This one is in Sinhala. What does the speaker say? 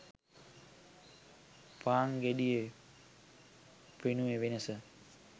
පාන් ගෙඩියේ පෙනුමේ වෙනස